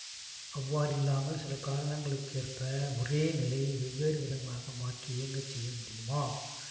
அவ்வாறில்லாமல் சில காரணிகளுக்கேற்ப ஒரே நிலை வெவ்வேறுவிதமாக மாற்றி இயங்கச் செய்ய முடியுமா